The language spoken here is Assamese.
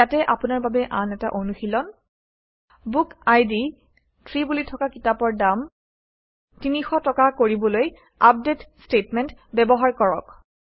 ইয়াতে আপোনাৰ বাবে আন এটা অনুশীলন ১ বুকআইডি 3 বুলি থকা কিতাপৰ দাম ৩০০ টকা কৰিবলৈ আপডেট ষ্টেটমেণ্ট ব্যৱহাৰ কৰক